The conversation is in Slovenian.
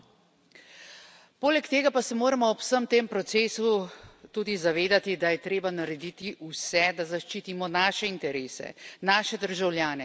Poleg tega pa se moramo ob vsem tem procesu tudi zavedati, da je treba narediti vse, da zaščitimo naše interese, naše državljane, naše vrednote.